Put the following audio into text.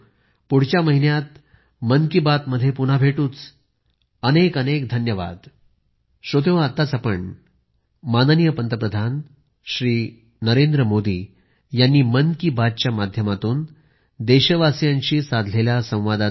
मित्रांनो पुढच्या महिन्यात पुन्हा आपल्याशी मन की बात होईल